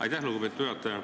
Aitäh, lugupeetud juhataja!